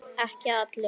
Ekki allir.